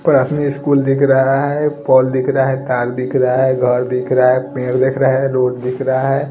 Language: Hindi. प्राथमिक स्कूल दिख रहा हैं पौल दिख रहा हैं तार दिख रहा हैं घर दिख रहा हैं पेड़ दिख रहा हैं रोड दिख रहा हैं ।